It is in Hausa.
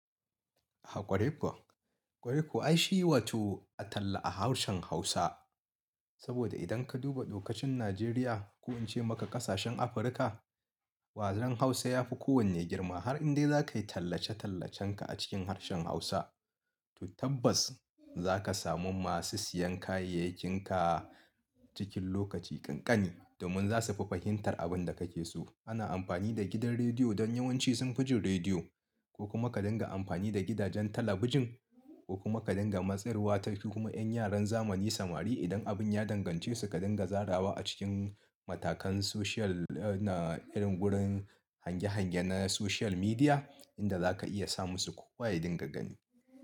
Ah ƙwarai kuwa, ƙwarai kuwa ai shi wato a talla a harshen Hausa. Saboda idan ka duba lokacin Najeriya ko in ce maka ƙasashen Afirka, wajen Hausa ya fi kowanne girma har indai za ka yi tallace-tallacenka a cikin harshen Hausa, to tabbas za ka samu masu siyan kayayyakinka cikin lokaci kankani domin zasufi fahimtar abunda kakeso ana amfani da gidan rediyo dan yawanci sunfi jin rediyo ko kuma ka dinga amfani da gidajen talabijin ko kuma ka dinga matsar wa ta fi kuma ƴan yaran zamani samari idan abin ya dangance su ka dinga zarawa a cikin matakan social na irin wurin hange-hange na social media inda za ka iya sa musu ko wa ya dinga gani.